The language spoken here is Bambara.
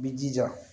I b'i jija